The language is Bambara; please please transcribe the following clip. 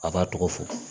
A b'a tɔgɔ fɔ